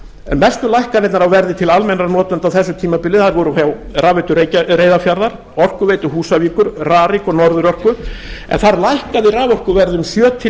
en mestu lækkanirnar á verði til almennra notenda á þessu tímabili þær voru hjá rafveitu reyðarfjarðar orkuveitu húsavíkur rarik og norðurorku en þar lækkaði raforkuverð um sjö til